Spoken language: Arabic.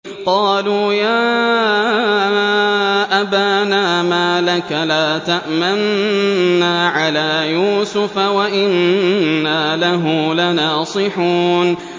قَالُوا يَا أَبَانَا مَا لَكَ لَا تَأْمَنَّا عَلَىٰ يُوسُفَ وَإِنَّا لَهُ لَنَاصِحُونَ